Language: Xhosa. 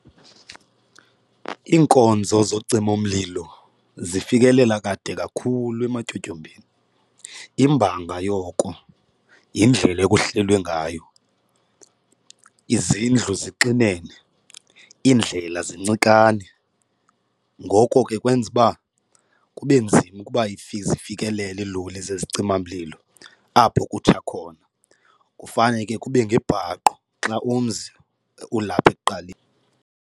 Iinkonzo zocima umlilo zifikelela kade kakhulu ematyotyombeni, imbanga yoko yindlela ekuhlelwe ngayo. Izindlu zixinene, iindlela zincikane. Ngoko ke kwenza uba kube nzima ukuba zifikelele iiloli zezicima mlilo apho kutsha khona, kufana ke kube ngebhaqo xa umzi ulapha ekuqaleni.